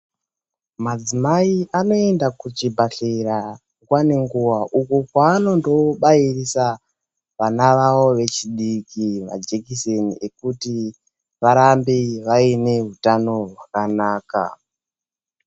Madzimai anoenda kuchibhedhlera nguwa ngenguwa uko kwavanondobairisa vana vavo vechidiki majekiseni ekuti varambe vaine utano hwakanaka.